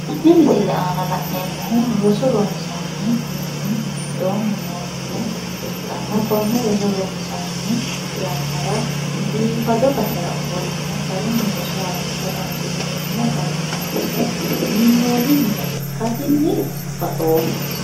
tenne misile aana la'neemmohu roso ronsanni mini giddoonni noo mine ikkanna konne roso ronsanni yannara biifado basera ofolline garunni roso harunsa dandiineemmo garinni assine minnoonni mine ikkasinni baxoomma.